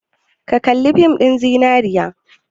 Ka kalli fin ɗin zinariya?